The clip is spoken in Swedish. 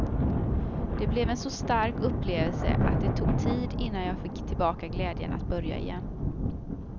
Det blev en så stark upplevelse att det tog tid innan jag fick tillbaka glädjen att börja igen.